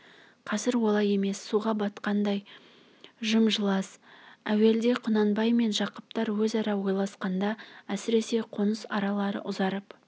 қазір олай емес суға батқандай жым-жылас әуелде құнанбай мен жақыптар өзара ойласқанда әсіресе қоныс аралары ұзарып